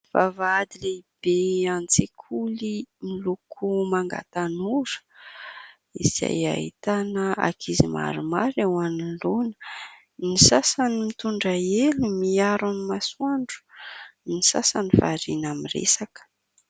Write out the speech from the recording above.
Vavahady lehibe an-tsekoly miloko manga tanora ; izay ahitana ankizy maromaro eo anoloana ; ny sasany mitondra elo miaro amin'ny masoandro ; ny sasany variana miresaka.